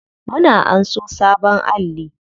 Mun anso sabon alli.